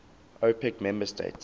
opec member states